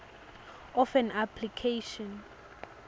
of an application